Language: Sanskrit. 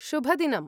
शुभदिनम्!